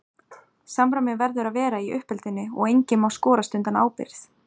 Samræmi verður að vera í uppeldinu og enginn má skorast undan ábyrgð.